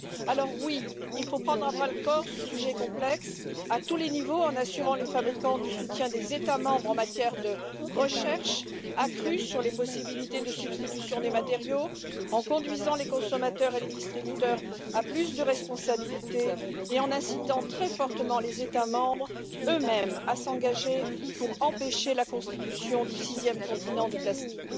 Alors, oui, il faut prendre à bras le corps ce sujet complexe, à tous les niveaux, en assurant les fabricants du soutien des États membres en matière de recherche accrue sur les possibilités de substitution des matériaux, en conduisant les consommateurs et les distributeurs à plus de responsabilité et en incitant très fortement les États membres eux-mêmes à s'engager pour empêcher la constitution du sixième continent de plastique.